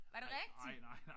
Var det rigtig?